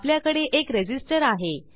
आपल्याकडे एक रेझिस्टर आहे